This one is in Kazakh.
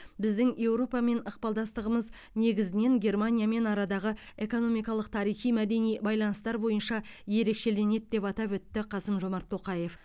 біздің еуропамен ықпалдастығымыз негізінен германиямен арадағы экономикалық тарихи мәдени байланыстар бойынша ерекшеленеді деп атап өтті қасым жомарт тоқаев